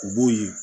U b'o ye